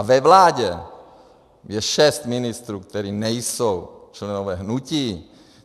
A ve vládě je šest ministrů, kteří nejsou členy hnutí.